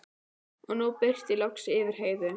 Og nú birti loks yfir Heiðu.